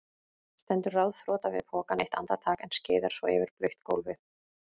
Stendur ráðþrota við pokann eitt andartak en skeiðar svo yfir blautt gólfið.